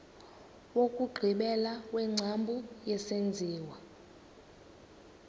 wokugqibela wengcambu yesenziwa